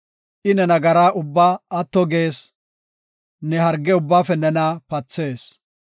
I ne nagaraa ubbaa atto gees; ne harge ubbaafe nena pathees.